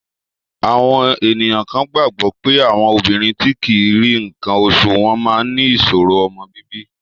Àwọn ènìyàn kan gbàgbọ́ pé àwọn obìnrin tí kì í rí nǹkan oṣù wọ́n máa ní ìṣòro ọmọ bíbí.